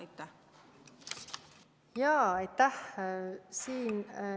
Aitäh!